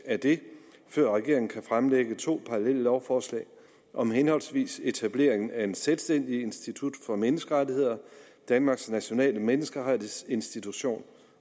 af det før regeringen kan fremsætte to parallelle lovforslag om henholdsvis en etablering af et selvstændigt institut for menneskerettigheder danmarks nationale menneskerettighedsinstitution